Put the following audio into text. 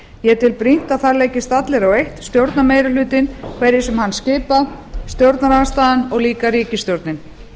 ég tel brýnt að það leggist allir á eitt stjórnarmeirihlutinn hverjir sem hann skipa stjórnarandstaðan og líka ríkisstjórnin